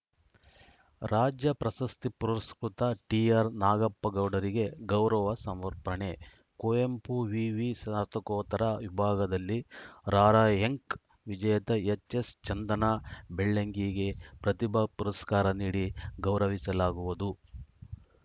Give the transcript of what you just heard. ರಾಜ್ಯ ಪ್ರಶಸ್ತಿ ಪುರಸ್ಕೃತ ಟಿಆರ್‌ನಾಗಪ್ಪಗೌಡರಿಗೆ ಗೌರವ ಸಮರ್ಪಣೆ ಕುವೆಂಪು ವಿವಿ ಸ್ನಾತಕೋತ್ತರ ವಿಭಾಗದಲ್ಲಿ ರಾರ‍ಯಂಕ್‌ ವಿಜೇತೆ ಎಚ್‌ಎಸ್‌ಚಂದನಾ ಬೆಳ್ಳಂಗಿಗೆ ಪ್ರತಿಭಾ ಪುರಸ್ಕಾರ ನೀಡಿ ಗೌರವಿಸಲಾಗುವುದು